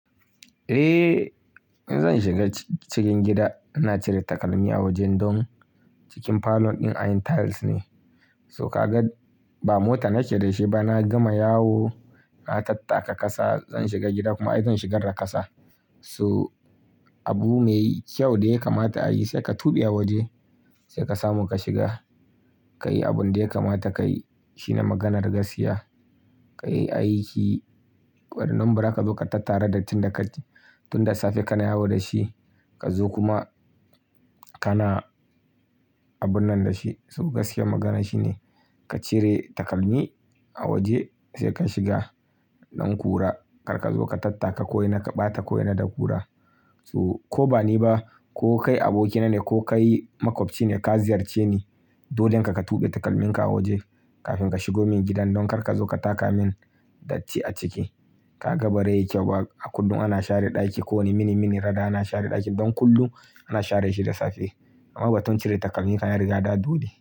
Eh, zan shiga cikin gida. Ina cire takalmi a wajen, don cikin parlour ɗin anyi tiles ne. So, ka ga ba mota nake da shi ba, na gama yawo, na tattaka kasa. Zan shiga gida kuma ai, zan shigar da kasa. So, abu mai kyau da ya kamata a yi, sai ka tuɓe a waje, sai ka samu ka shiga. Ka yi abin da ya kamata ka yi. Shi ne maganar gaskiya. Ka yi aiki, wanda in don ba zaa ka zo ka tattara dattin da ka, tun da safe kana yawo da shi. Ka zo kuma, kana abun nan da shi. So gaskiya magana shine, ka cire takalmi a waje, sai ka shiga don kura. Karka zo ka tattaka ko ina, ka ɓata ko ina da kura. So, ko ba ni ba, ko kai abokina ne, ko kai maƙwabci ne, ka ziyarce ni, dolle ka ka tuɓe takalminka a waje, kafin ka shigo min gidan. Don karka zo ka taka min datti a ciki. Ka ga ba rai yi kyau ba. A kullum ana share ɗaki, kowane mini-mini rada ana share ɗakin. Don kullum ana share shi da safe. Maganar batun cire takalmi fa ya riga dawo dole.